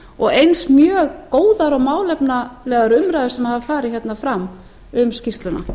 og eins mjög góðar og málefnalegar umræður sem hafa farið hérna fram um skýrsluna